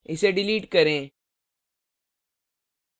इसे डिलीट करें